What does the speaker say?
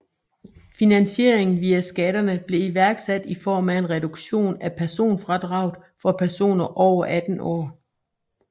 Finansieringen via skatterne blev iværksat i form af en reduktion af personfradraget for personer over 18 år